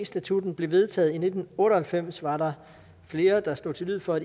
statutten blev vedtaget i nitten otte og halvfems var der flere der slog til lyd for